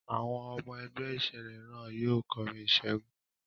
Àwọn ọmọ ẹgbẹ́ ìṣẹ̀lẹ̀ náà yóò kọrin ìṣẹ́gun.